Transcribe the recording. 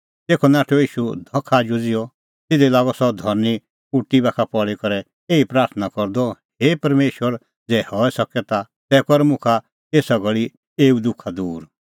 तेखअ नाठअ ईशू धख आजू ज़िहअ तिधी लागअ सह धरनीं उटी बाखा पल़ी करै एही प्राथणां करदअ हे परमेशर ज़ै हई सके ता तै कर मुखा एसा घल़ी एऊ दुखा दूर